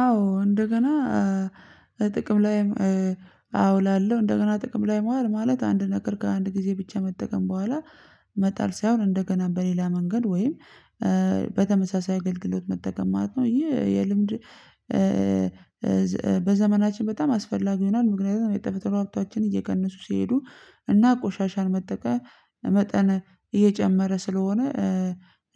አዎ እንደገና ጥቅም ላይ አውላለሁ። እንደገና ጥቅም ላይ መዋል ማለት አንድ ነገር ከአንድ ጊዜ ብቻ መጠቀም በኋላ መጣል ሳይሆን እንደገና በሌላ መንገድ ወይም በተመሳሳይ አገልግሎት ማለት ነው። እንጂ የልምድ በዘመናችን በጣም አስፈላጊ ይሆናል። ምክንያቱም የተፈጥሮ ሀብታችን እየቀነሱ ሲሄዱ እና ቆሻሻን መጠቀም መጠን እየጨመረ ስለሆነ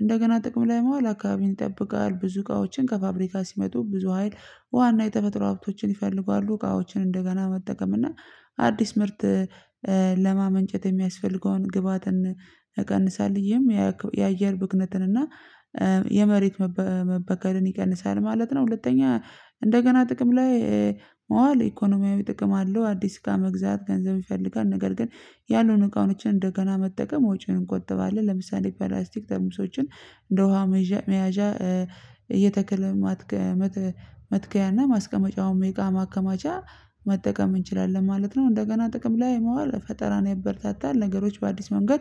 እንደገና ጥቅም ላይ መዋል አካባቢን ይጠብቃል። ብዙ እቃዎችን ከፋብሪካ ሲመጡ ብዙ ሀይል ውሃና የተፈጥሮ ሀብቶችን ይፈልጋሉ እቃዎችን እንደገና መጠቀም እና አዲስ ምርት ለማመንጨት የሚያስፈልገውን ግብአትን እቀንሳለሁ ይህም የአየር ብክለትን እና የመሬት መበከልን ይቀንሳል ማለት ነው። ሁለተኛ እንደገና ጥቅም ላይ ማዋል ኢኮኖሚያዊ ጥቅም አለው አዲስ እቃ መግዛት ገንዘብ ይፈልጋል ነገር ግን ያሉን እቃዎችን እንደገና መጠቀም ወጪውን እንቆጥባለን። ለምሳሌ ፕላስቲክ ጠርሙሶችን እንደ ውሃ መያዣ የተክል መትከያና ማስቀመጫውን የእቃ ማከማቻ መጠቀም እንችላለን ማለት ነው። እንደገና ጥቅም ላይ ማዋል ፈጠራን ያበረታታል ነገሮች በአዲስ መንገድ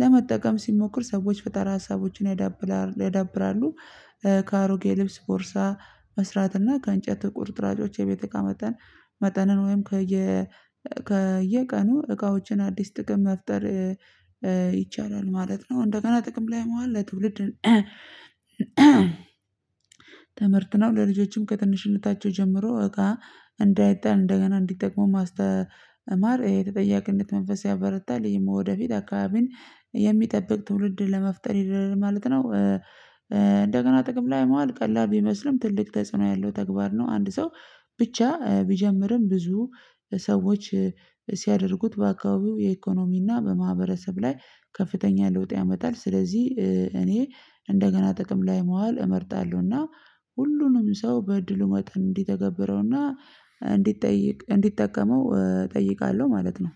ለመጠቀም ሲሞክር ሰዎች ፈጠራ ሀሳቦችን ያዳብራሉ። ከአሮጌ ልብስ ቦርሳ መስራት እና ከእንጨት ቁርጥራጮች የቤት እቃ መጠን መጠንን ወይም ከየ ከየቀኑ እቃዎችን አዲስ ጥቅም መፍጠር ይቻላል ማለት ነው። እንደገና ጥቅም ላይ ማዋል ለትውልድ ትምህርት ነው ለልጆችም ከትንሽነታቸው ጀምሮ እቃ እንዳይጣል እንደገና እንዲጠቀሙ ማስተማር የተጠያቂነት መንፈስ ያበረታል ይህም ወደፊት አካባቢን የሚጠብቅ ትውልድ ለመፍጠር ይደርሳል ማለት ነው። እንደገና ጥቅም ላይ ማዋል ቀላል ቢመስልም ትልቅ ተጽዕኖ ያለው ተግባር ነው አንድ ሰው ብቻ ቢጀምርም ብዙ ሰዎች ሲያደርጉት በአካባቢው የኢኮኖሚና በማህበረሰብ ላይ ከፍተኛ ለውጥ ያመጣል። ስለዚህ እኔ እንደገና ጥቅም ላይ ማዋል እመርጣለሁ እና ሁሉንም ሰው በድሉ መጠን እንዲተገብረውና እንዲጠይቅ እንዲጠቀመው እጠይቃለሁ ማለት ነው